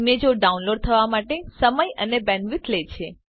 ઈમેજો ડાઉનલોડ થવા માટે સમય અને બેન્ડવિડ્થ લે છે